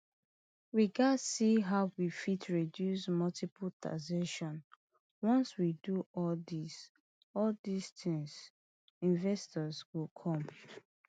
we gatz see how we fit reduce multiple taxation once we do all dis all dis tins investors go come